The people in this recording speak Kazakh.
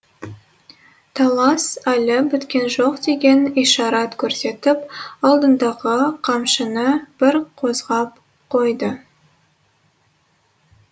талас әлі біткен жоқ деген ишарат көрсетіп алдындағы қамшыны бір қозғап қойды